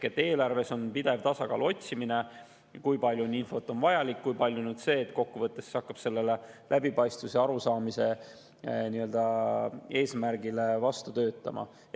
Eelarve puhul on pidev tasakaalu otsimine, kui palju infot on vajalik, kui palju on see, mis kokkuvõttes hakkab läbipaistvuse ja arusaamise eesmärgile vastu töötama.